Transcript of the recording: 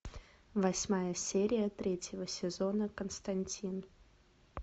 восьмая серия третьего сезона константин